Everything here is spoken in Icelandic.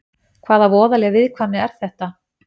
Hvaða voðaleg viðkvæmni er þetta?